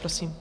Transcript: Prosím.